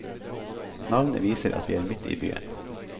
Navnet viser at vi er midt i byen.